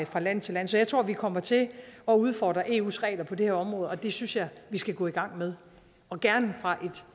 fra land til land så jeg tror at vi kommer til at udfordre eus regler på det her område og det synes jeg at vi skal gå i gang med og gerne fra et